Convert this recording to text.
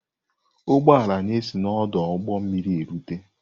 Ụgbọ ala na-esi n'ọdụ ụgbọ mmiri na-erute.